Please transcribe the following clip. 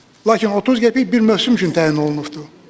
Lakin 30 qəpik bir mövsüm üçün təyin olunubdur.